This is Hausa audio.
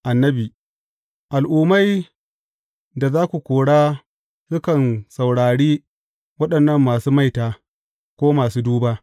Annabi Al’ummai da za ku kora sukan saurari waɗannan masu maita, ko masu duba.